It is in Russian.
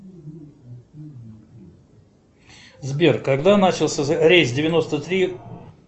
сбер когда начался рейс девяносто три